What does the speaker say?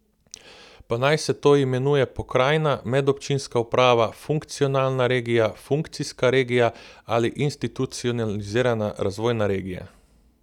Pa naj se to imenuje pokrajina, medobčinska uprava, funkcionalna regija, funkcijska regija ali institucionalizirana razvojna regija.